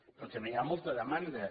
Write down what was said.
però també hi ha molta demanda